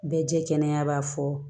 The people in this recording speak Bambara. Bɛɛ jɛ kɛnɛ b'a fɔ